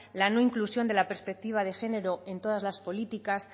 la no inclusión de la perspectiva de género en todas las políticas